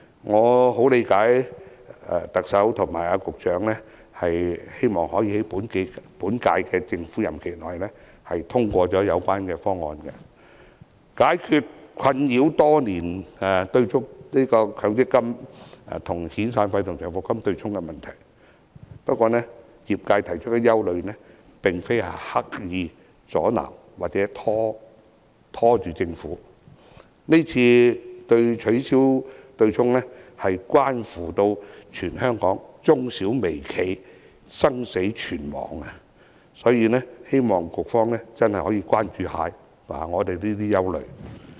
我十分理解特首和局長希望可以在本屆政府任期內通過有關方案，解決困擾多年的強積金與遣散費和長期服務金對沖的問題，不過業界提出的憂慮並非刻意阻撓或拖延政府，今次取消強積金對沖問題，關乎全香港中小微企的生死存亡，所以希望局方可以關注我們的憂慮。